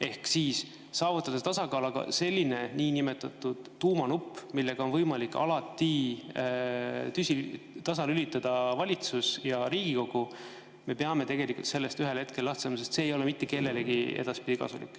Ehk tuleks saavutada tasakaal, aga sellest niinimetatud tuumanupust, millega on võimalik alati tasalülitada valitsus ja Riigikogu, me peame tegelikult ühel hetkel lahti saama, sest see ei ole mitte kellelegi edaspidi kasulik.